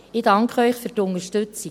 Ich danke Ihnen für die Unterstützung.